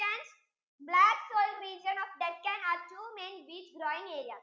black soil region of deccan are two main wheat growing area